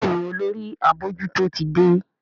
Béèni Olórí abojuto tí dé.